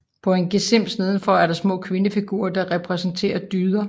På en gesims nedenfor er der små kvindefigurer der repræsenterer dyder